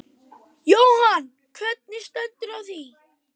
Jóhann: Hvernig stendur á því?